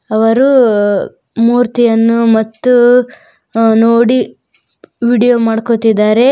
ಅವರು ಮೂರ್ತಿಯನ್ನು ಮತ್ತು ನೋಡಿ ವಿಡಿಯೋ ಮಾಡ್ಕೋತಿದಾರೆ.